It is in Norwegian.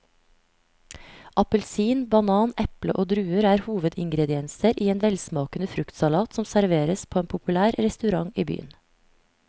Appelsin, banan, eple og druer er hovedingredienser i en velsmakende fruktsalat som serveres på en populær restaurant i byen.